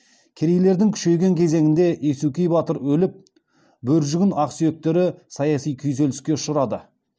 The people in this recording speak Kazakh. керейлердің күшейген кезеңінде есукей батыр өліп бөржігін ақсүйектері саяси күйзеліске ұшырады